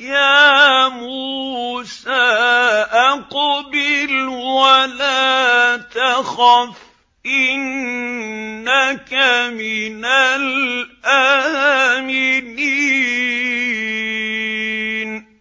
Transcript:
يَا مُوسَىٰ أَقْبِلْ وَلَا تَخَفْ ۖ إِنَّكَ مِنَ الْآمِنِينَ